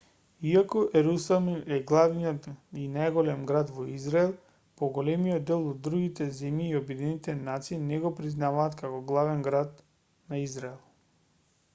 иако ерусалим е главниот и најголемиот град во израел поголемиот дел од другите земји и обединетите нации не го признаваат како главен град на израел